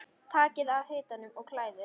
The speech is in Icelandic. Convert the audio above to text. Takið af hitanum og kælið.